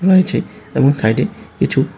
রয়েছে এবং সাইডে কিছু--